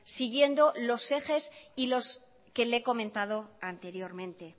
siguiendo los ejes y los que le he comentado anteriormente